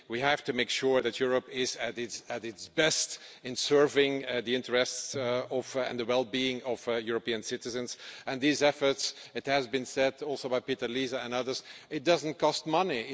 We have to make sure that Europe is at its best in serving the interests and the well being of European citizens and these efforts as has been said also by Peter Liese and others do not cost money